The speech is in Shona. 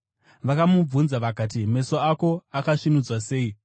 Vakamubvunza vakati, “Meso ako akasvinudzwa sei?”